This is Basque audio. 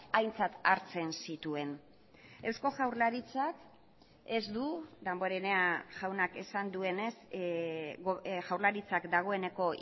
aintzat hartzen zituen eusko jaurlaritzak ez du damborenea jaunak esan duenez jaurlaritzak dagoeneko